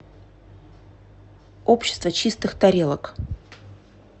общество чистых тарелок